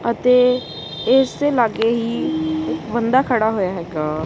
ਅਤੇ ਇਸ ਦੇ ਲੱਗੇ ਹੀ ਇੱਕ ਬੰਦਾ ਖੜਾ ਹੋਇਆ ਹੈਗਾ।